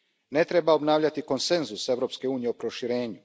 Ne treba obnavljati konsenzus Europske unije o proširenju.